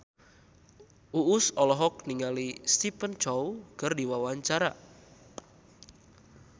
Uus olohok ningali Stephen Chow keur diwawancara